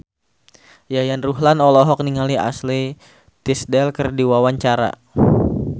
Yayan Ruhlan olohok ningali Ashley Tisdale keur diwawancara